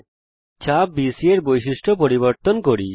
এখন চাপ বিসি এর বৈশিষ্ট্য পরিবর্তন করা যাক